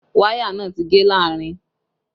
Wáyà náà ti gé láàrin